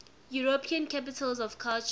european capitals of culture